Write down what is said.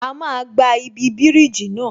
A máa gba ibi bíríjì náà